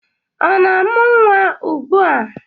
Ọ na-amụ nwa ugbua?